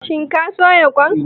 Shin ka soya kwan?